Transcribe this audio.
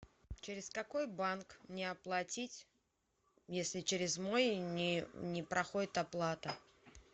через какой банк мне оплатить если через мой не проходит оплата